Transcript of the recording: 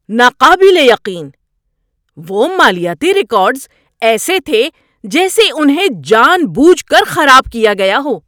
ناقابل یقین! وہ مالیاتی ریکارڈز ایسے تھے جیسے انہیں جان بوجھ کر خراب کیا گیا ہو!